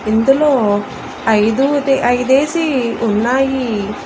ఇందులో ఐదోదే ఐదేసి ఉన్నాయి.